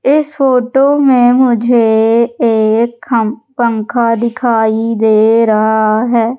इस फोटो में मुझे एक पंखा दिखाई दे रहा है।